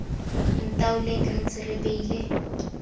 ntaoleng re ntse re beile